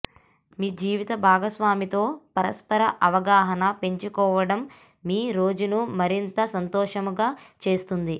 మీ జీవిత భాగస్వామితో పరస్పర అవగాహన పెంచుకోవడం మీ రోజును మరింత సంతోషంగా చేస్తుంది